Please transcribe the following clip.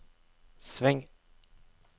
sving